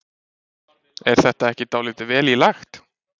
Er þetta ekki dálítið vel í lagt?